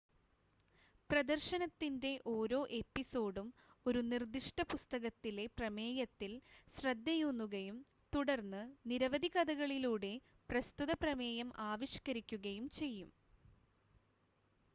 പ്രദർശനത്തിൻ്റെ ഓരോ എപ്പിസോഡും ഒരു നിർദ്ദിഷ്ട പുസ്തകത്തിലെ പ്രമേയത്തിൽ ശ്രദ്ധയൂന്നുകയും തുടർന്ന് നിരവധി കഥകളിലൂടെ പ്രസ്തുത പ്രമേയം ആവിഷ്ക്കരിക്കുകയും ചെയ്യും